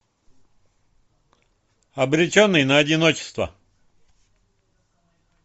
обреченный на одиночество